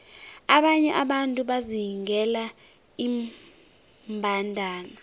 abanye abantu bazingela iimbandana